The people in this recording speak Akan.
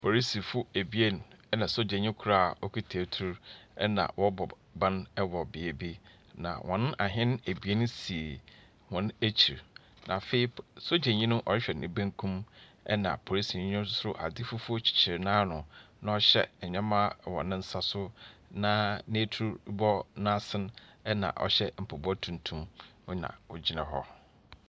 Polisifo ebien nna sojanii kor a wokita etuo ɛna wɔɔbɔ ban ɛwɔ beebi. Na wɔn ahɛn ebien si wɔn ekyi. Na afei sojanii, ɔrehwɛ nibenkum ɛna polisinii no ade fufuo kyikyir naanu na ɔhyɛ nnɛɛmaa wɔ nensa so na n'etun bɔ naasin ɛna ɔhyɛ mpaboa tuntum ɛna ogyina hɔ.